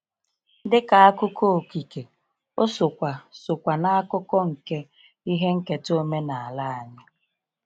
Dị ka akụkọ okike, o sokwa sokwa na akụkọ nke ihe nketa omenala anyị.